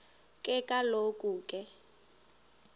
ke kaloku ke